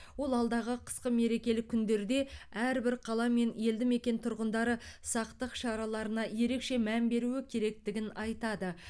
ол алдағы қысқы мерекелік күндерде әрбір қала мен елді мекен тұрғындары сақтық шараларына ерекше мән беруі керектігін айтады